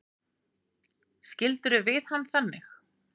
Skildirðu við hann þannig?